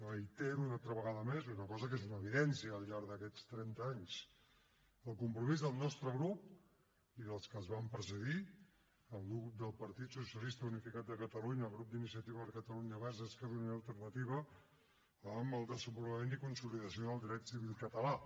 reitero una altra vegada més una cosa que és una evidència al llarg d’aquests trenta anys el compromís del nostre grup i dels que ens van precedir el grup del partit socialista unificat de catalunya el grup d’iniciativa per catalunya verds esquerra unida i alternativa amb el desenvolupament i consolidació del dret civil català